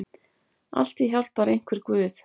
Altíð hjálpar einhver guð.